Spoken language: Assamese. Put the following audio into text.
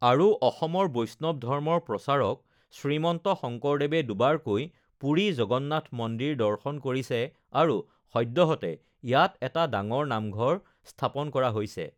আৰু অসমৰ বৈষ্ণৱ ধৰ্মৰ প্ৰচাৰক শ্ৰীমন্ত শংকৰদেৱে দুবাৰকৈ পুৰী জগন্নাথ মন্দিৰ দৰ্শন কৰিছে, আৰু সদ্যহতে ইয়াত এটা ডাঙৰ নামঘৰ স্থাপন কৰা হৈছে